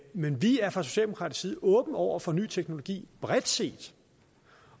men vi er fra socialdemokratisk side åbne over for ny teknologi bredt set